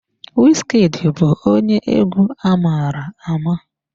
Wizkid bụ onye egwu amara ama.